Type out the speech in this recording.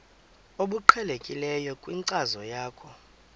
obuqhelekileyo kwinkcazo yakho